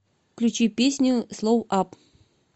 включи песню слоу ап